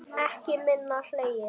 Ekki minna hlegið.